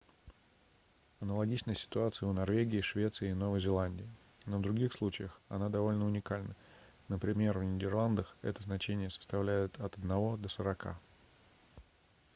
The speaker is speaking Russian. аналогичная ситуация у норвегии швеции и новой зеландии но в других случаях она довольно уникальна например в нидерландах это значение составляет от одного до сорока